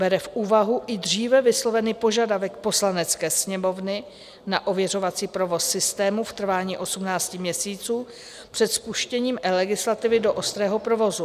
Bere v úvahu i dříve vyslovený požadavek Poslanecké sněmovny na ověřovací provoz systému v trvání 18 měsíců před spuštěním eLegislativy do ostrého provozu.